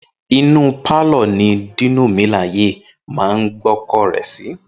Inú pálọ̀ ni Dino Melaye máa ń gbọ́kọ̀ rẹ̀ sí.